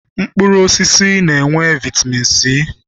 Mkpụrụosisi na-enwe vaịtamin C